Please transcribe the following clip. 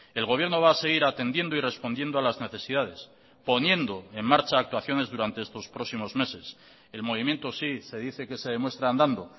el gobierno va a seguir atendiendo y respondiendo a las necesidades poniendo en marcha actuaciones durante estos próximos meses el movimiento sí se dice que se demuestra andando